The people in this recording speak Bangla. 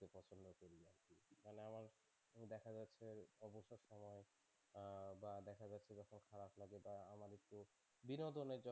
বিনোদনের জন্য